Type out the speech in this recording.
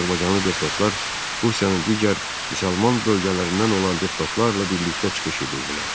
Azərbaycanlı deputatlar Rusiyanın digər müsəlman bölgələrindən olan deputatlarla birlikdə çıxış edirdilər.